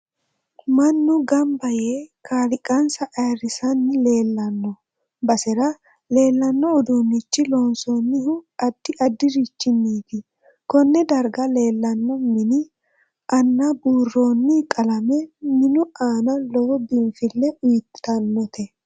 Mannu ganba yee kaaliiqansa ayiirisanni leelanno basera leelanno uduunicho loonsoonihu addi addirichiniit konne darga leelanno mini aanabuurooni qalame minu aana lowo biinfile uyiitanote